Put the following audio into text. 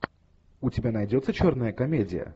у тебя найдется черная комедия